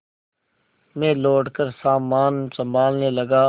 मैं लौटकर सामान सँभालने लगा